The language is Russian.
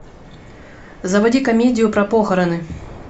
заводи комедию про похороны